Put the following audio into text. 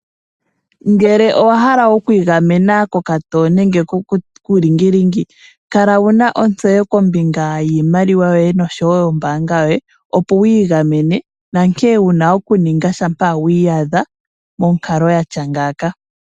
Ngele owa hala okwiigamena kokatowo nenge kuulingilingi kala wuna ontseyo kombinga yiimaliwa yoye noshowo nombaanga yoye opo wu igamene nankene wuna oku ninga ngele wi iyadha monkalo yatya ngaaka.